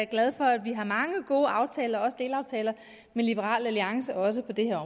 glad for at vi har mange gode aftaler også delaftaler med liberal alliance også på det her